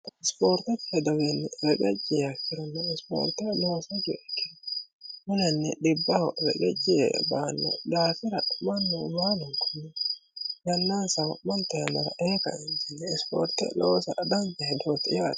isipoorteti hedowiinni regacci yiiha ikronna isipoorte looso giwiha ikkiro mulanni dhibbaho reqecci Yee baanno daafira mannu baalunkunni yannaansa wa'monte yannara ee kaeentinni isipoorte loosa danicha hedooti yaate